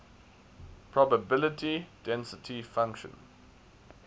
probability density function